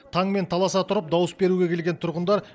таңмен таласа тұрып дауыс беруге келген тұрғындар